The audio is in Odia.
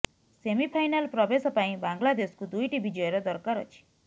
ସେମିଫାଇନାଲ୍ ପ୍ରବେଶ ପାଇଁ ବାଂଲାଦେଶକୁ ଦୁଇଟି ବିଜୟର ଦରକାର ଅଛି